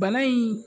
Bana in